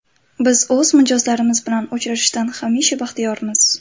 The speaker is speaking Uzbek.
Biz o‘z mijozlarimiz bilan uchrashishdan hamisha baxtiyormiz.